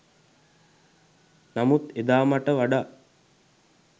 නමුත් එදා මට වඩා